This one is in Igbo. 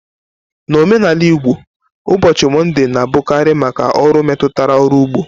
N'omenala Igbo, ụbọchị Mọnde na-abụkarị maka ọrụ metụtara ọrụ ugbo.